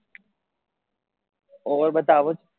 or બધા આવું જ